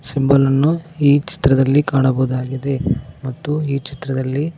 ತಿಂಬಲ ಅನ್ನು ಈ ಚಿತ್ರದಲ್ಲಿ ಕಾಣಬೋದಾಗಿದೆ ಮತ್ತು ಈ ಚಿತ್ರದಲ್ಲಿ--